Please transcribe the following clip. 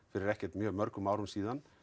fyrir ekkert mjög mörgum árum síðan